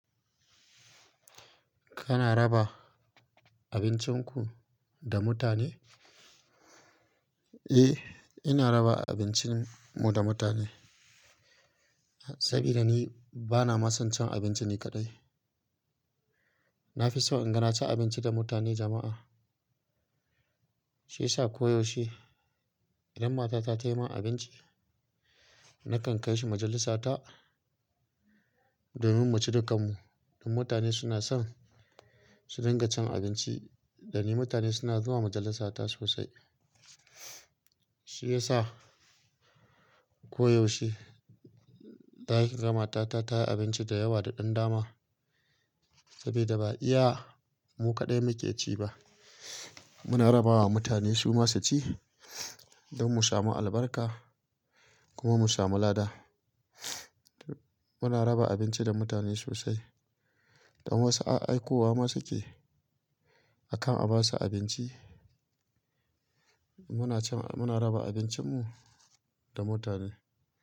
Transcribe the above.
Kana raba abincin ku da mutane? Eh, ina raba abincin mu da mutane sabida ni bana masan cin abinci ni kaɗai. Na fi so in ga na ci abinci da mutane jama'a. Shi ya sa koyaushe idan matata ta yi min abinci, nakan kai shi majalisata domin mu ci dakan mu. Don mutane suna son su dinga cin abinci da ni. Mutane suna zuwa majalisata sosai. Shi ya sa koyaushe ta'iza matata ta yi abinci da yawa da ɗan dama saboda ba iya mu kaɗai muke ci ba. Muna raba wa mutane su ma su ci don mu samu albarka kuma mu samu lada. Muna raba abinci da mutane sosai don wasu a aiko wa ma suke akan a ba su abinci. Muna cin-- muna raba abincin mu da mutane.